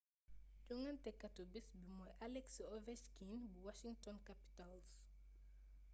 jongantekatu bés bi mooy alex ovechkin bu washington capitals